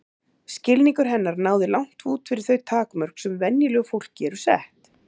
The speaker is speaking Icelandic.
Skilningur hennar náði langt út fyrir þau takmörk sem venjulegu fólki eru sett.